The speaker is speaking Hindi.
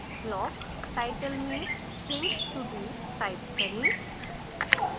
block टाइटल में things to do type करें